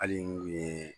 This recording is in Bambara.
Hali n'u ye